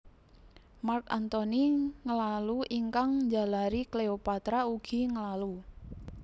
Mark Antony nglalu ingkang njalari Cleopatra ugi nglalu